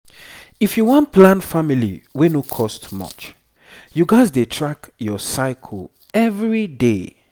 if you wan plan family wey no cost much you gats dey track your cycle every day